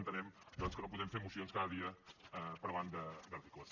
entenem que no podem fer mocions cada dia parlant d’articles